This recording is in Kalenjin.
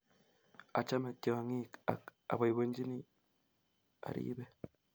Achame tyong'ik ak apoipoenjini aripe